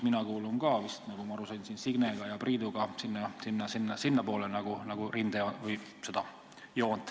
Mina kuulun ka vist, nagu ma aru saan, Signe ja Priiduga samale poole joont.